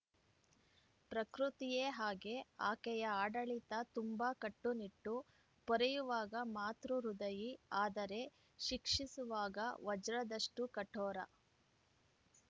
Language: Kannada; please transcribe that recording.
ಪ್ರಕೃತಿಯೇ ಹಾಗೆ ಆಕೆಯ ಆಡಳಿತ ತುಂಬಾ ಕಟ್ಟುನಿಟ್ಟು ಪೊರೆಯುವಾಗ ಮಾತೃ ಹೃದಯಿ ಆದರೆ ಶಿಕ್ಷಿಸುವಾಗ ವಜ್ರದಷ್ಟುಕಠೋರ